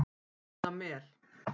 Litla Mel